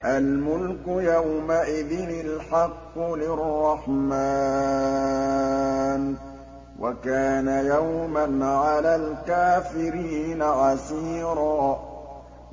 الْمُلْكُ يَوْمَئِذٍ الْحَقُّ لِلرَّحْمَٰنِ ۚ وَكَانَ يَوْمًا عَلَى الْكَافِرِينَ عَسِيرًا